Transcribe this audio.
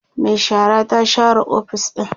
Mai shara ta share ofis ɗin